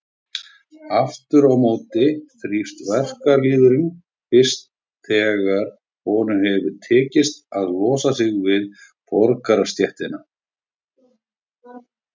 Aftur á móti þrífst verkalýðurinn fyrst þegar honum hefur tekist að losa sig við borgarastéttina.